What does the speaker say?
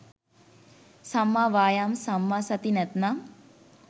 සම්මා වායාම සම්මා සති නැත්නම්